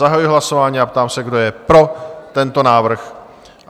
Zahajuji hlasování a ptám se, kdo je pro tento návrh?